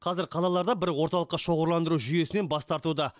қазір қалалар да бір орталыққа шоғырландыру жүйесінен бас тартуда